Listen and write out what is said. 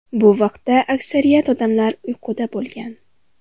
Bu vaqtda aksariyat odamlar uyquda bo‘lgan.